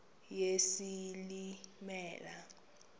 yesilimela